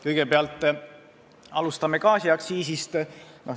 Kõigepealt, alustame gaasiaktsiisist.